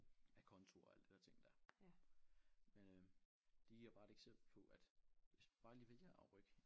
Aconto og alt det der ting der. Øh det giver bare et eksempel på at hvis man bare lige vælger at rykke